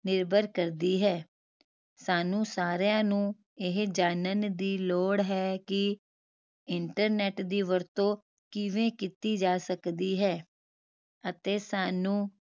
ਨਿਰਭਰ ਕਰਦੀ ਹੈ ਸਾਨੂੰ ਸਾਰੀਆਂ ਨੂੰ ਇਹ ਜਾਨਣ ਦੀ ਲੋੜ ਹੈ ਕਿ internet ਦੀ ਵਰਤੋਂ ਕਿਵੇਂ ਕੀਤੀ ਜਾ ਸਕਦੀ ਹੈ ਅਤੇ ਸਾਨੂ